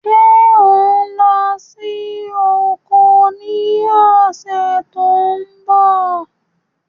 Ṣé ò ń lọ sí oko ní ọ̀sẹ̀ tó ń bọ̀?